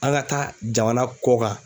An ka taa jamana kɔkan.